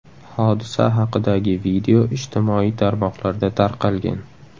Hodisa haqidagi video ijtimoiy tarmoqlarda tarqalgan.